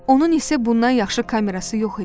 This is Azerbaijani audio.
Onun isə bundan yaxşı kamerası yox idi.